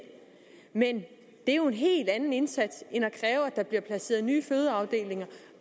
men det er jo en helt anden indsats end at der bliver placeret nye fødeafdelinger